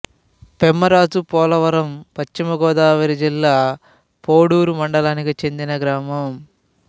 పెమ్మరాజుపోలవరం పశ్చిమ గోదావరి జిల్లా పోడూరు మండలానికి చెందిన గ్రామం